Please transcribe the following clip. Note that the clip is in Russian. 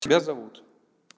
тебя зовут